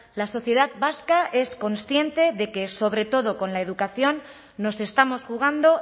la sociedad vasca es consciente de que sobre todo con la educación nos estamos jugando